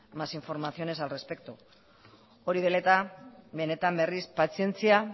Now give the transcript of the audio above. más informaciones al respecto hori dela eta benetan berriz pazientzia